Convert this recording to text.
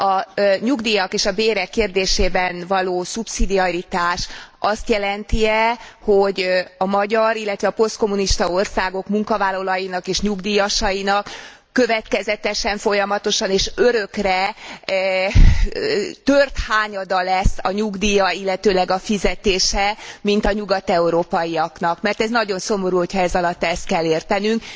A nyugdíjak és a bérek kérdésében való szubszidiaritás azt jelent e, hogy a magyar, illetve a posztkommunista országok munkavállalóinak és nyugdíjasainak következetesen, folyamatosan és örökre tört hányada lesz a nyugdíja illetőleg a fizetése, mint a nyugat európaiaknak, mert ez nagyon szomorú, hogyha ezalatt ezt kell értenünk.